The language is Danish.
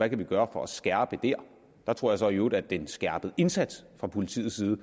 kan gøre for at skærpe der jeg tror så i øvrigt at den skærpede indsats fra politiets side